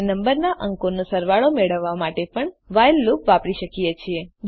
આપણે નંબરના અંકોનો સરવાળો મેળવવા માટે પણ વ્હાઇલ લૂપ વાપરી શકો છો